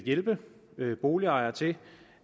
hjælpe boligejere til